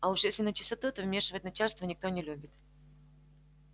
а уж если начистоту то вмешивать начальство никто не любит